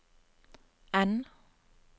N